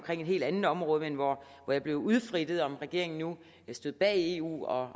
helt andet område men hvor jeg blev udfrittet om regeringen nu stod bag eu og